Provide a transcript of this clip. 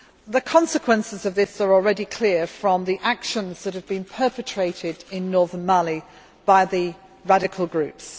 The consequences of this are already clear from the actions that have been perpetrated in northern Mali by the radical groups.